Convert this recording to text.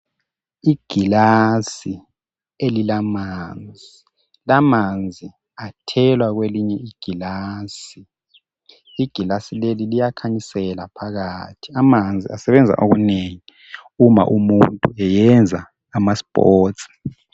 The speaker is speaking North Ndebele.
Igilasi elilamanzi, lamanzi athelwa kwelinye igilasi. Igilasi leli liyakhanyisela phakathi. Amanzi asebenza okunengi uma umuntu eyenza amasports.